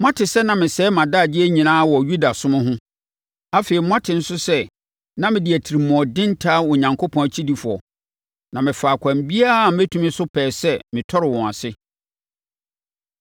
Moate sɛ na mesɛe mʼadagyeɛ nyinaa wɔ Yudasom ho. Afei, moate nso sɛ na mede atirimuɔden taa Onyankopɔn akyidifoɔ, na mefaa ɛkwan biara a mɛtumi so pɛɛ sɛ metɔre wɔn ase.